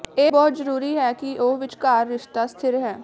ਇਹ ਬਹੁਤ ਜ਼ਰੂਰੀ ਹੈ ਕਿ ਉਹ ਵਿਚਕਾਰ ਰਿਸ਼ਤਾ ਸਥਿਰ ਹੈ